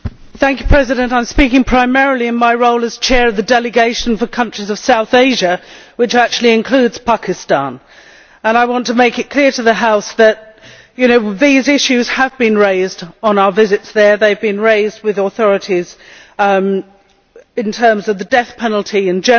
I am speaking primarily in my role as Chair of the Delegation for countries of South Asia which actually includes Pakistan, and I want to make it clear to the House that these issues have been raised on our visits there. They have been raised with the authorities in terms of the death penalty in general